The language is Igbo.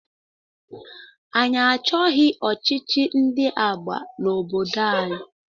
Anyị achọghị ọchịchị ndị agha n'obodo anyị.